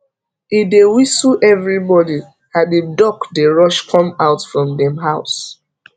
he dey whistle every morning and him duck dey rush come out from dem house